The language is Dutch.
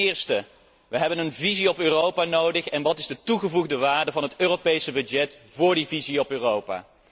Ten eerste hebben we een visie op Europa nodig en wat is de toegevoegde waarde van het Europese budget voor die visie op Europa?